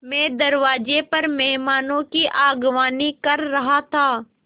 मैं दरवाज़े पर मेहमानों की अगवानी कर रहा था